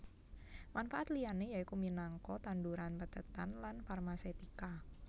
Manfaat liyané yaiku minangka tanduran pethètan lan farmasetika